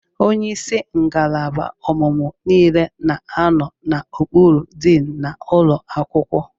Onye isi ngalaba ọmụmụ niile na anọ n'okpuru diin n'ụlọ akwụkwọ.